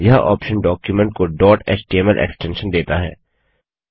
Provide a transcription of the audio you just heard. यह option document को dot HTML extension देता है